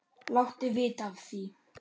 Láttu vita af því.